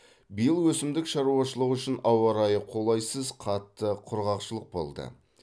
биыл өсімдік шаруашылығы үшін ауа райы қолайсыз қатты құрғақшылық болды